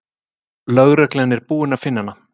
Lögreglan er búin að finna hana.